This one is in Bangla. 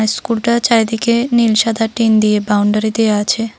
স্কুলটার চারিদিকে নীল সাদা টিন দিয়ে বাউন্ডারি দেয়া আছে।